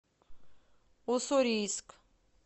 уссурийск